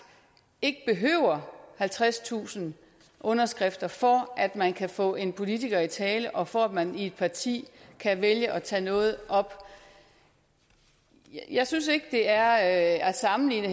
ikke behøver halvtredstusind underskrifter for at man kan få en politiker i tale og for at man i et parti kan vælge at tage noget op jeg synes heller ikke det er at sammenligne